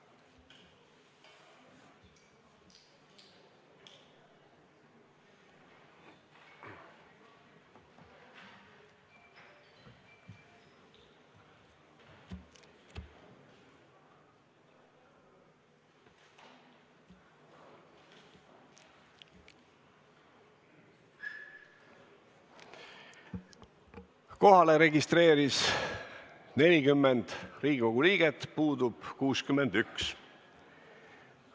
Kohaloleku kontroll Kohalolijaks registreeris 40 Riigikogu liiget, puudub 61.